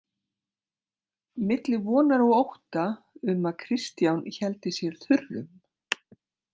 Milli vonar og ótta um að Kristján héldi sér þurrum.